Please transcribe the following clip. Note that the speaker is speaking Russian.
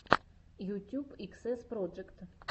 ютьюб иксэс проджект